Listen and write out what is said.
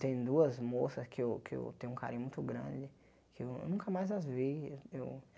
Tem duas moças que eu que eu tenho um carinho muito grande, que eu nunca mais as vi. Eu